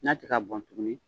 N'a tɛ ka bɔn tuguni.